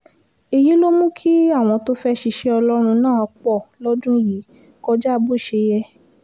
èyí ló mú kí àwọn tó fẹ́ẹ́ ṣiṣẹ́ ọlọ́run náà pọ̀ lọ́dún yìí kọjá bó ṣe yẹ